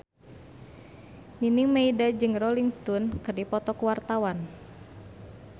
Nining Meida jeung Rolling Stone keur dipoto ku wartawan